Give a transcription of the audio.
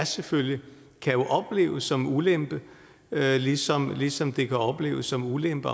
selvfølgelig opleves som en ulempe ligesom ligesom det kan opleves som en ulempe